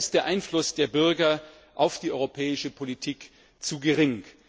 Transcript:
Denn noch immer ist der Einfluss der Bürger auf die europäische Politik zu gering.